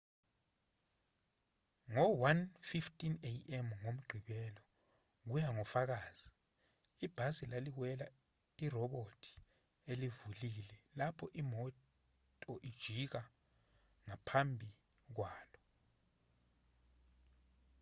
ngo-1:15 a.m. ngomgqibelo kuya ngofakazi ibhasi laliwela irobhothi elivulile lapho imoto ijika ngaphambi kwalo